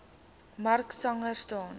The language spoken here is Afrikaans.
mark sangster staan